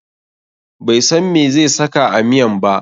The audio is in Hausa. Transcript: Bai san meh zai saka a miyan ba.